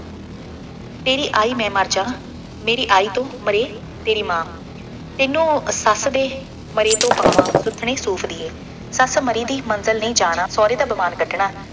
ਤੇਰੀ ਆਈ ਮੈਂ ਮਰ ਜਾ, ਮੇਰੀ ਆਈ ਤੋਂ ਮਰੇ ਤੇਰੀ ਮਾਂ, ਤੈਨੂੰ ਸੱਸ ਦੇ ਮਰੇ ਤੋਂ ਪਾਵਾਂ, ਸੁੱਥਣੇ ਸੂਤ ਦੀਏ, ਸੱਸ ਮਰੀ ਦੀ ਮੰਦਲ ਨਹੀਂ ਜਾਣਾ, ਸਹੁਰੇ ਦਾ ਦੀਵਾਨ ਕੱਢਣਾ।